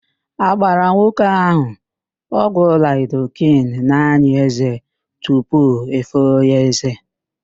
A gbara nwoke ahụ ọgwụ laịdoken n'ányị̀ ézé tupu efoo ya ézé.